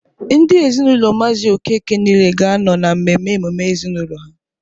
Ndị ezinaụlọ maazị Okeke niile ga-anọ na mmemme emume ezinaụlọ ha.